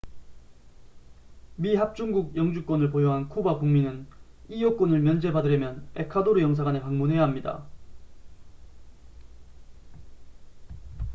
미합중국 영주권을 보유한 쿠바 국민은 이 요건을 면제받으려면 에콰도르 영사관에 방문해야 합니다